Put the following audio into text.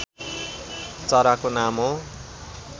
चराको नाम हो